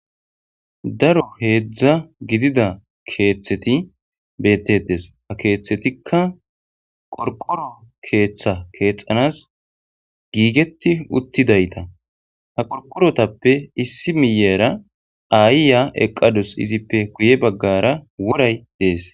Daro heedzdza gidida keeththeti bettetes ha keeththetikka qorqoro keeththa keexanas giigeti uttidayta ha qorqorotappe issi miyera ayya eqqadus izippe guye baggara woray dees.